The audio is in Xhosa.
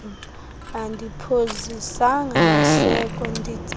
andiphozisanga maseko nditsale